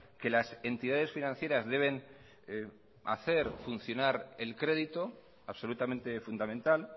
que las entidades financieras deben hacer funcionar el crédito absolutamente fundamental